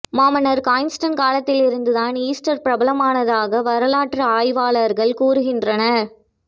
மாமன்னர் கான்ஸ்டைன் காலத்தில் இருந்துதான் ஈஸ்டர் பிரபலமானதாக வரலாற்று ஆய்வாளர்கள் கூறுகின்றனர்